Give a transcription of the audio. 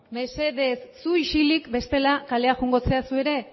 mesedez zu isilik bestela kalera joango zara zu ere